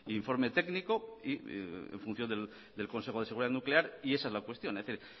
informe técnico y en función del consejo de seguridad nuclear esa es la cuestión es decir